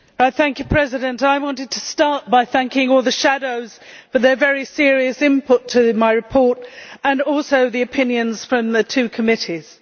Madam President, I wanted to start by thanking all the shadows for their very serious input to my report and also the opinions from the two committees.